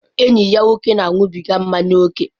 Enyi ya nwoke na-aṅụbiga mmanya ókè.